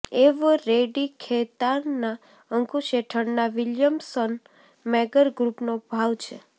Eveready ખૈતાનના અંકુશ હેઠળના વિલિયમ્સન મેગર ગ્રૂપનો ભાગ છે